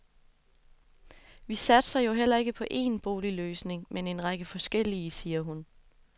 Vi satser jo heller ikke på én boligløsning, men en række forskellige, siger hun.